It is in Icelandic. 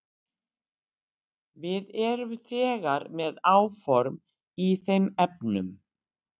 Við erum þegar með áform í þeim efnum.